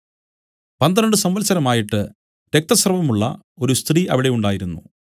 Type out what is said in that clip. പന്ത്രണ്ട് സംവത്സരമായിട്ട് രക്തസ്രവമുള്ള ഒരു സ്ത്രീ അവിടെ ഉണ്ടായിരുന്നു